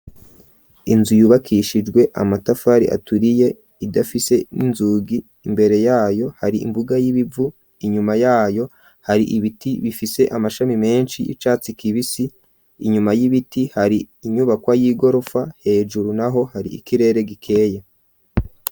Inzu yubakishijwe amatafari aturiye idafise n'inzugi imbere yayo hari imbuga y'ibivu inyuma yayo hari ibiti bifise amashami menshi y'icatsi kibisi inyuma y'ibiti hari inyubakwa y'igorofa hejuru naho hari ikirere gikeye.